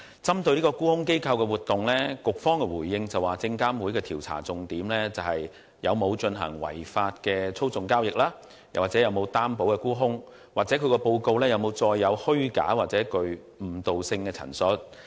針對沽空機構的活動，局方的回應指出，證監會的調查重點在於有否進行違法的操縱交易或無擔保沽空活動，以及沽空報告是否載有虛假或具誤導性的陳述。